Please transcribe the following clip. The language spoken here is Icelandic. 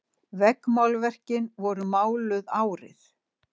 Veggmálverkin voru máluð árið